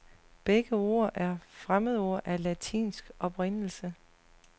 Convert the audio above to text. Begge ord er fremmedord af latinsk oprindelse.